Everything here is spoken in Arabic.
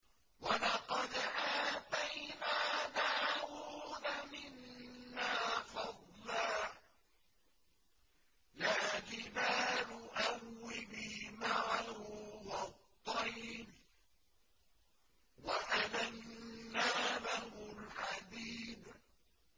۞ وَلَقَدْ آتَيْنَا دَاوُودَ مِنَّا فَضْلًا ۖ يَا جِبَالُ أَوِّبِي مَعَهُ وَالطَّيْرَ ۖ وَأَلَنَّا لَهُ الْحَدِيدَ